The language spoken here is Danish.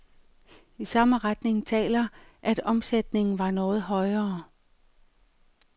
I samme retning taler, at omsætningen var noget højere.